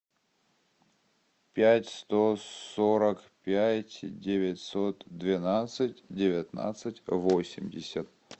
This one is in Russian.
пять сто сорок пять девятьсот двенадцать девятнадцать восемьдесят